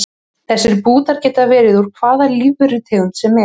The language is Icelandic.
Þessir bútar geta verið úr hvaða lífverutegund sem er.